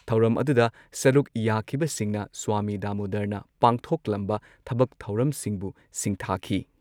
ꯊꯧꯔꯝ ꯑꯗꯨꯗ ꯁꯔꯨꯨꯛ ꯌꯥꯈꯤꯕꯁꯤꯡꯅ ꯁ꯭ꯋꯥꯃꯤ ꯗꯥꯃꯣꯗꯔꯅ ꯄꯥꯡꯊꯣꯛꯂꯝꯕ ꯊꯕꯛ ꯊꯧꯔꯝꯁꯤꯡꯕꯨ ꯁꯤꯡꯊꯥꯈꯤ ꯫